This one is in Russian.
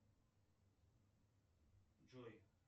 джой